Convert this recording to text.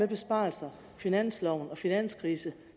besparelser finansloven og finanskrisen